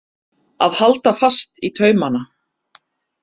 Að halda fast í taumana